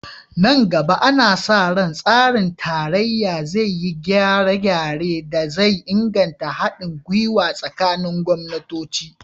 Nan gaba, ana sa ran tsarin tarayya zai yi gyare-gyaren da zai inganta hadin gwiwa tsakanin gwamnatoci